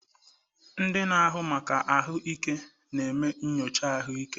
Ndị na-ahụ maka ahụike na-eme nyocha ahụike.